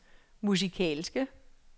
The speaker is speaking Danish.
musikalske